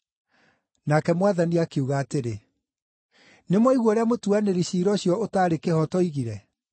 Nake Mwathani akiuga atĩrĩ, “Nĩmwaigua ũrĩa mũtuanĩri ciira ũcio ũtarĩ kĩhooto oigire?